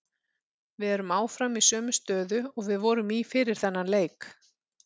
Við erum áfram í sömu stöðu og við vorum í fyrir þennan leik.